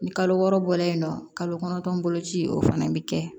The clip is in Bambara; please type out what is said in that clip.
Ni kalo wɔɔrɔ bɔla yen nɔ kalo kɔnɔntɔn boloci o fana bɛ kɛ